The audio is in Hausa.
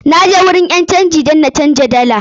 Na je wurin ƴan canji dan na canja dala na.